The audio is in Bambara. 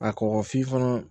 A kɔkɔ f'i fana